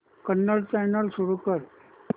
Kannada channel सुरू कर